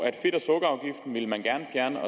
at fedt og sukkerafgiften ville man gerne fjerne